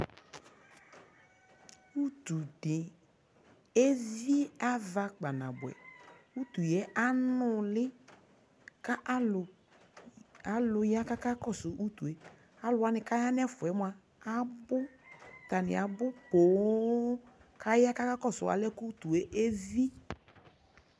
Utu di evi ava kpanaboɛ Utu yɛ anʋli kʋ alʋ, alʋ ya kakakɔsʋ utu e Alʋwa ni kaya nʋ ɛfɛ ɛ moa abʋ, atani abʋ pooo kʋ aya kakakɔsʋ alɛnɛ boa kʋ ʋtu yɛ evi